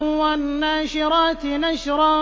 وَالنَّاشِرَاتِ نَشْرًا